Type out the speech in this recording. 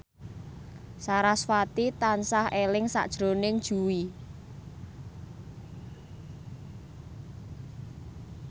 sarasvati tansah eling sakjroning Jui